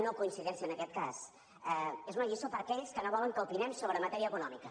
nocoincidència en aquest cas és una lliçó per a aquells que no volen que opinem sobre matèria econòmica